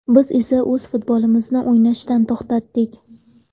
Biz esa o‘z futbolimizni o‘ynashdan to‘xtadik.